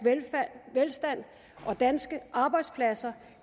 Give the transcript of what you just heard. velstand og danske arbejdspladser